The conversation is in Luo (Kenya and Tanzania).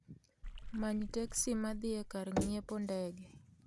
Many teksi ma dhi e kar ng'iepo ndege